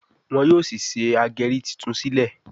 wón yóò sí ṣe ageri títún sílè.